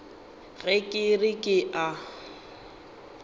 ge ke re ke a